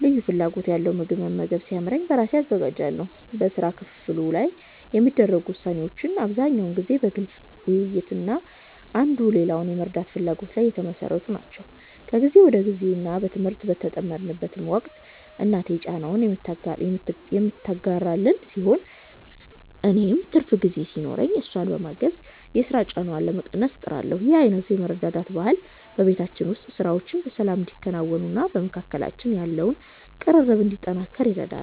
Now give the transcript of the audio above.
ደግሞ ልዩ ፍላጎት ያለው ምግብ መመገብ ሲያምረኝ በራሴ አዘጋጃለሁ። በሥራ ክፍፍሉ ላይ የሚደረጉ ውሳኔዎች አብዛኛውን ጊዜ በግልጽ ውይይት እና አንዱ ሌላውን የመርዳት ፍላጎት ላይ የተመሠረቱ ናቸው። ከጊዜ ወደ ጊዜ እኔ በትምህርት በምጠመድበት ወቅት እናቴ ጫናውን የምትጋራልኝ ሲሆን፣ እኔም ትርፍ ጊዜ ሲኖረኝ እሷን በማገዝ የሥራ ጫናዋን ለመቀነስ እጥራለሁ። ይህ አይነቱ የመረዳዳት ባህል በቤታችን ውስጥ ሥራዎች በሰላም እንዲከናወኑና በመካከላችን ያለው ቅርርብ እንዲጠናከር ይረዳል።